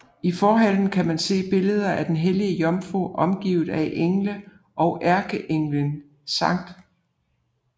I forhallen kan man se billeder af den hellige jomfru omgivet af engle og ærkeenglen Skt